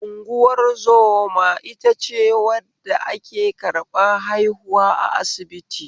Unguwar zoma itace wadda ake karɓan haihuwa a asibiti